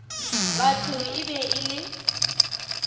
batho e be e le